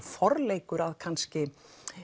forleikur að kannski